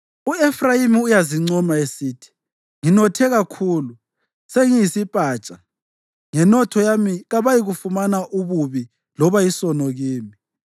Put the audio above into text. U-Efrayimi uyazincoma esithi, “Nginothe kakhulu; sengiyisipatsha. Ngenotho yami kabayikufumana ububi loba isono kimi.”